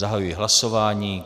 Zahajuji hlasování.